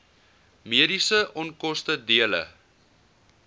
mediese onkoste dele